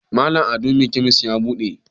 Malam ado me kemis ya bude?